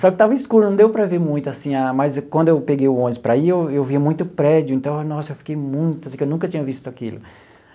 Só que estava escuro, não deu para ver muito, assim, mas quando eu peguei o ônibus para ir, eu via muito prédio, então, nossa, eu fiquei muito, assim, que eu nunca tinha visto aquilo.